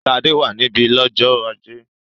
Ṣadé wà níbí lọ́jọ́ ajé?